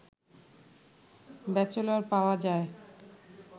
bachelor পাওয়া যায়